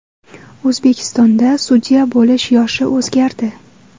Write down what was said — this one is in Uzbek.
O‘zbekistonda sudya bo‘lish yoshi o‘zgardi.